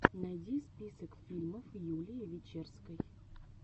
найди список фильмов юлии вечерской